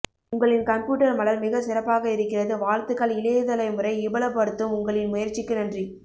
உங்களின் கம்ப்யூட்டர் மலர் மிக சிறப்பாக இருக்கிறது வாழ்த்துக்கள் இளையதலைமுறை இ பலபடுத்தும் உங்களின் முயற்சிக்கு நன்றி